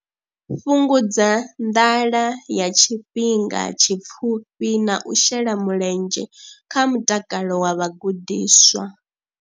Fhungudza nḓala ya tshifhinga tshipfufhi na u shela mulenzhe kha mutakalo wa vhagudiswa.